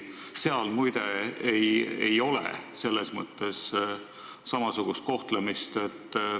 Seal muide ei ole selles mõttes samasugust kohtlemist.